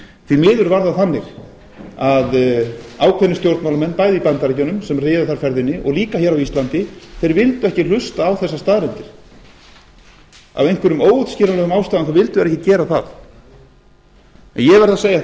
því miður var það þannig að ákveðnir stjórnmálamenn bæði í bandaríkjunum sem réðu þar ferðinni og líka hér á íslandi vildu ekki hlusta á þessar staðreyndir af einhverjum óútskýranlegum ástæðum vildu þeir ekki gera það en ég verð að segja